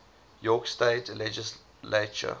york state legislature